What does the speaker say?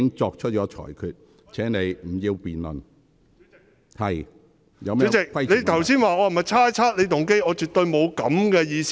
主席，你剛才問我有否猜測你的動機，我絕對沒有這個意思。